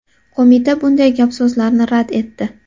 Qo‘mita bunday gap-so‘zlarni rad etdi .